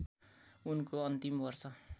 उनको अन्तिम वर्ष